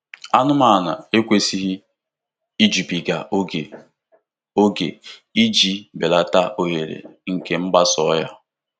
Anụmanụ ekwesịghị ijubiga oke ókè iji belata ohere nke mgbasa ọrịa.